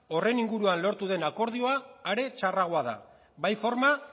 horren inguruan lortu den akordia are txarragoa da bai forma